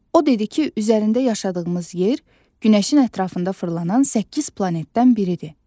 O dedi ki, üzərində yaşadığımız yer Günəşin ətrafında fırlanan səkkiz planetdən biridir.